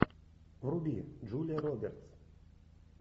вруби джулия робертс